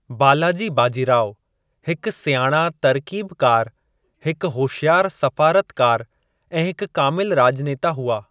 बालाजी बाजीराव हिकु सियाणा तरकीबकारु, हिकु होशियारु सफ़ारतकारु ऐं हिकु कामिलु राज॒नेता हुआ।